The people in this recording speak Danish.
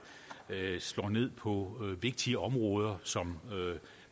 slår ned på vigtige områder som